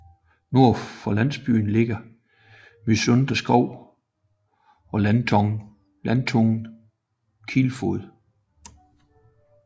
Nord for landsbyen ligger Mysunde Skov og landtungen Kilfod